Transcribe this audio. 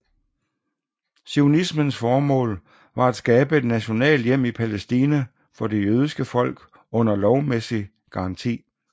Zionismens formål var at skabe et nationalt hjem i Palæstina for det jødiske folk under lovmæssig garanti